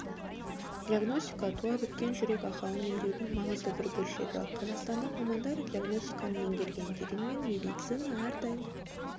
диагностика туа біткен жүрек ақауын емдеудің маңызды бір бөлшегі қазақстандық мамандар диагностиканы меңгерген дегенмен медицина әрдайым